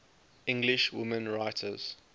english women writers